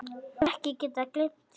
Hef ekki getað gleymt því.